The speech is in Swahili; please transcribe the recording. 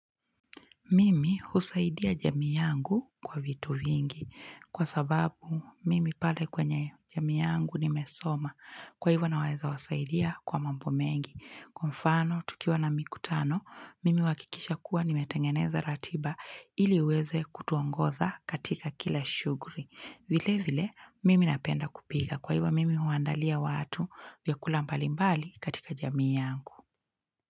Mimi husaidia jamii yangu kwa vitu vingi kwa sababu mimi pale kwenye jamii yangu nimesoma kwa hivo naweza wasaidia kwa mambo mengi. Kwa mfano tukiwa na mikutano mimi huhakikisha kuwa nimetengeneza ratiba ili iweze kutuongoza katika kila shughuli. Vile vile mimi napenda kupika kwa hivyo mimi huandalia watu vyakula mbalimbali katika jamii yangu.